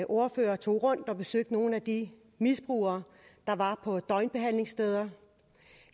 ordfører tog rundt og besøgte nogle af de misbrugere der var på døgnbehandlingssteder